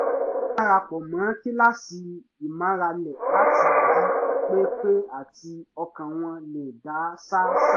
wọ́n dara pọ̀ mọ́ kíláàsì ìmárale láti lè jí pé pé àti kí ọkàn wọn lè dá ṣáṣá